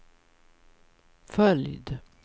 följd